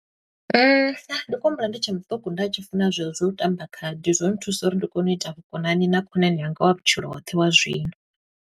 Ndi khou humbula ndi tshe muṱuku nda tshi funa zwezwo zwa u tamba khadi, zwo nthusa uri ndi kone u ita vhukonani na khonani yanga wa vhutshilo hoṱhe wa zwino.